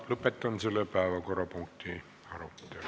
Lõpetan selle päevakorrapunkti arutelu.